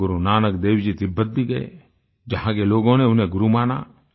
गुरुनानक देव जी तिब्बत भी गये जहां के लोगों ने उन्हें गुरु माना